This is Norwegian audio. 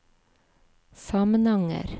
Samnanger